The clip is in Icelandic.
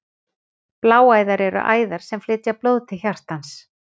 Bláæðar eru æðar sem flytja blóð til hjartans.